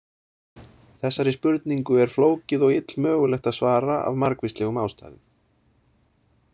Þessari spurningu er flókið og illmögulegt að svara af margvíslegum ástæðum.